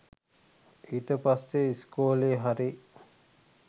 ඊට පස්සෙ ඉස්කෝලෙ හරි